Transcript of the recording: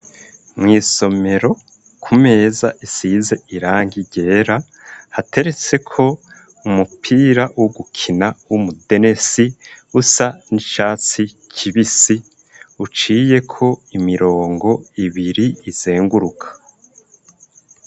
Mw' isomero ku meza isize irangi ryera hateretseko umupira wo gukina w'umudenesi usa n'icatsi kibisi uciyeko imirongo ibiri izunguruka.